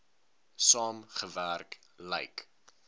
saam gewerk lyk